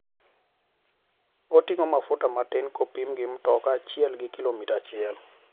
Oting'o mafuta matin kopim gi mtoka achiel gi kilomita achiel.